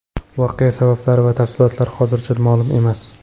Voqea sabablari va tafsilotlari hozircha ma’lum emas.